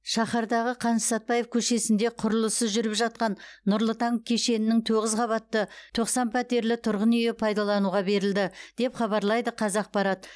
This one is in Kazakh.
шаһардағы қаныш сәтпаев көшесінде құрылысы жүріп жатқан нұрлы таң кешенінің тоғыз қабатты тоқсан пәтерлі тұрғын үйі пайдалануға берілді деп хабарлайды қазақпарат